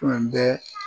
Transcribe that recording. Tun bɛ